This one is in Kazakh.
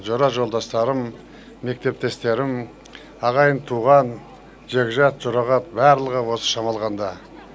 жора жолдастарым мектептестерім ағайын туған жекжат жұрағат барлығы осы шамалғанда